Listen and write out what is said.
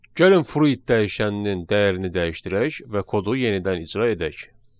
Gəlin fruit dəyişəninin dəyərini dəyişdirək və kodu yenidən icra edək.